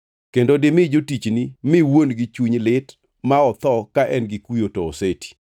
kendo dimi jotichni mi wuon-gi chuny lit ma otho ka en gi kuyo to oseti.